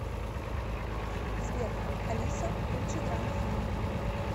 сбер алиса лучшие драма фильмы